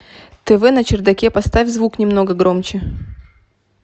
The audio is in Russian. тв на чердаке поставь звук немного громче